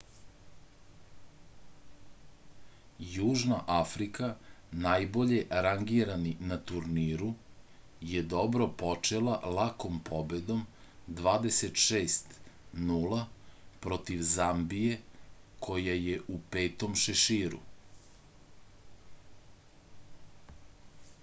јужна африка најбоље рангирани на турниру је добро почела лаком победом 26 : 0 против замбије која је у 5. шеширу